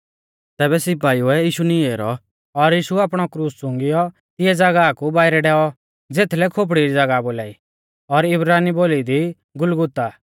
तैबै सिपाइउऐ यीशु नीं ऐरौ और यीशु आपणौ क्रूस चुंगिऔ तिंऐ ज़ागाह कु बाइरै डैऔ ज़ेथलै खोपड़ी री ज़ागाह बोलाई और इब्रानी बोली दी गुलगुता